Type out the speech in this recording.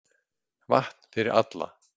Vatn fyrir alla